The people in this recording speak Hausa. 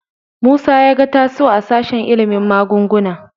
Musa ya ga Tasi'u a sashen ilimin magunguna.